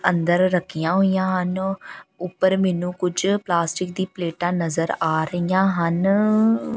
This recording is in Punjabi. ਅੰਦਰ ਰੱਖੀਆਂ ਹੋਈਆਂ ਹਨ ਉੱਪਰ ਮੈਨੂੰ ਕੁਝ ਪਲਾਸਟਿਕ ਦੀ ਪਲੇਟਾਂ ਨਜ਼ਰ ਆ ਰਹੀਆਂ ਹਨ ਆ।